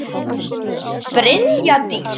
Brynja Dís.